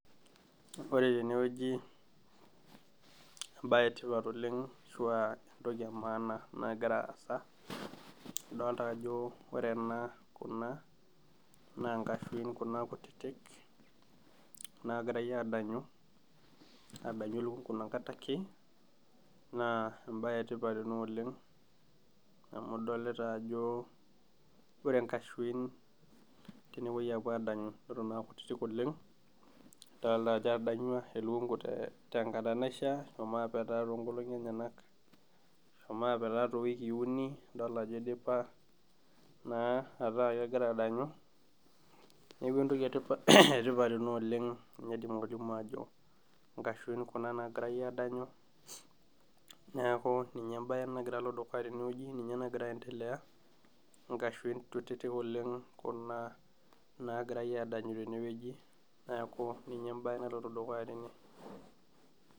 Ore tenewueji, ebae etipat oleng ashua entoki emaana nagira aasa, adolta ajo ore ena kuna, na nkashuin kuna kutitik nagirai adanyu, adanyu elukunku inakata ake, naa ebae etipat ena oleng amu idolita ajo ore nkashuin tenepoi adanyu eton akutitik oleng, nadolta ajo etadanyua elukunku tenkata naishaa, eshomo apetaa tonkolong'i enyanak, eshomo apetaa towikii uni, adol ajo idipa naa ataa kegira adanyu. Neeku entoki etipat ena oleng naidim atolimu ajo, inkashuin kuna nagirai adanyu, neeku ninye ebae nagira alo dukuya tenewueji, ninye nagira aendelea, inkashuin kutitik oleng kuna nagirai adanyu tenewueji. Neeku ninye ebae naloito dukuya tene.